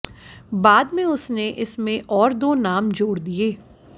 बाद में उसने इसमें और दो नाम जोड़ दिए